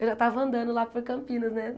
Eu já estava andando lá por Campinas, né?